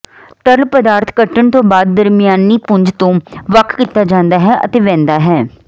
ਤਰਲ ਪਦਾਰਥ ਕੱਟਣ ਤੋਂ ਬਾਅਦ ਦਰਮਿਆਨੀ ਪੁੰਜ ਤੋਂ ਵੱਖ ਕੀਤਾ ਜਾਂਦਾ ਹੈ ਅਤੇ ਵਹਿੰਦਾ ਹੈ